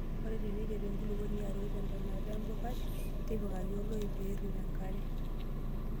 Ore teneiteru enkulukuoni atoi tentonata empukai, tipikaki oloip pee errip enkare.